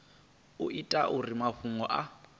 u itela uri mafhungo a